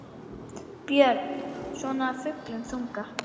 Björn: Svona af fullum þunga?